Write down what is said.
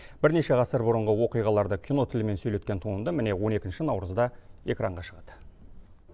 бірнеше ғасыр бұрынғы оқиғаларды кино тілімен сөйлеткен туынды міне он екінші наурызда экранға шығады